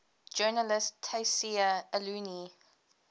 journalist tayseer allouni